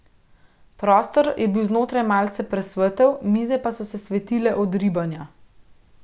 Prostor je bil znotraj malce presvetel, mize pa so se svetile od ribanja.